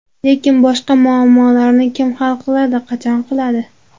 Lekin boshqa muammolarni kim hal qiladi, qachon qiladi?